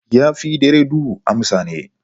Ya fi dare duhu amsan ne.